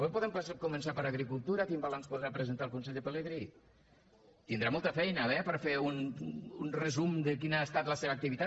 però podem començar per agricultura quin balanç podrà presentar el conseller pelegrí tindrà molta feina eh per fer un resum de quina ha estat la seva activitat